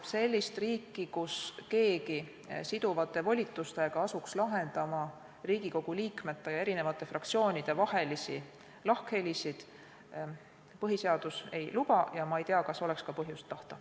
Sellist riiki, kus keegi siduvate volitustega asuks lahendama Riigikogu liikmete ja fraktsioonide vahelisi lahkhelisid, põhiseadus ei luba ja ma ei tea, kas oleks ka põhjust tahta.